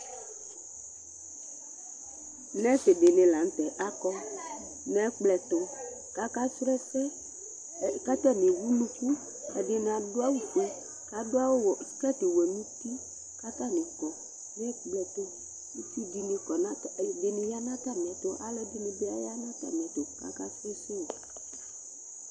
Nurse ɖìŋí la ŋtɛ akɔ ŋu ɛkplɔ ɛtu kʋ akasrɔ ɛsɛ Ataŋi ɛwu ʋnʋku Ɛɖìní aɖu awu fʋe kʋ aɖu skirt wɛ ŋu ʋti kʋ ataŋi kɔ ŋu ɛkplɔ tu Ɛɖìní bi ya ŋu atami ɛtu kʋ akasrɔ ɛsɛ o